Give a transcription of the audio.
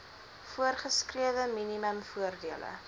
voorgeskrewe minimum voordele